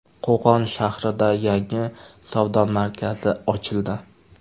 Qo‘qon shahrida yangi savdo markazi ochildi .